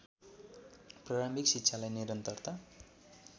प्रारम्भिक शिक्षालाई निरन्तरता